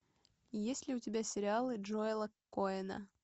есть ли у тебя сериалы джоэла коэна